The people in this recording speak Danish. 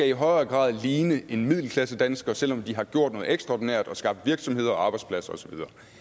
i højere grad ligne en middelklassedansker selv om de har gjort noget ekstraordinært og skabt virksomheder arbejdspladser og så